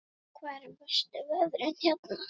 Hvernig eru verstu veðrin hérna?